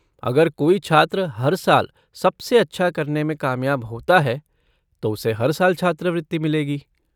अगर कोई छात्र हर साल सबसे अच्छा करने में कामयाब होता है तो उसे हर साल छात्रवृति मिलेगी।